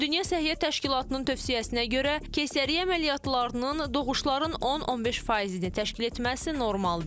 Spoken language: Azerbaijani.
Ümumdünya Səhiyyə Təşkilatının tövsiyəsinə görə, keysəriyyə əməliyyatlarının doğuşların 10-15%-ni təşkil etməsi normaldır.